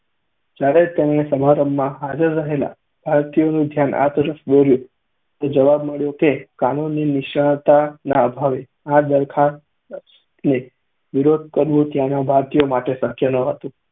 જ્યારે તેમણે સમારંભમાં હાજર રહેલા ભારતીયોનું ધ્યાન આ તરફ દોર્યું તો જવાબ મળ્યો કે કાનૂની નિષ્ણાતના અભાવે આ દરખાસ્તનો વિરોધ કરવું ત્યાંના ભારતીયો માટે શક્ય ન હતું.